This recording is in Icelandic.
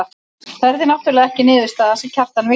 Það yrði náttúrlega ekki niðurstaðan sem Kjartan vildi.